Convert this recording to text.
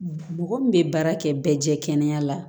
Mɔgɔ min bɛ baara kɛ bɛɛ jɛ kɛnɛ la